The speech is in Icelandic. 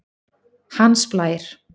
Hans Blær